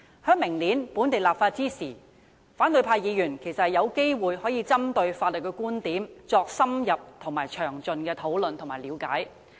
在明年進行本地立法時，反對派議員其實有機會可針對法律觀點作深入、詳盡的討論和了解。